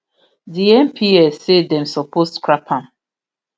di mps say dem suppose scrap am